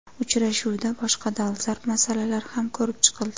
Uchrashuvda boshqa dolzarb masalalar ham ko‘rib chiqildi.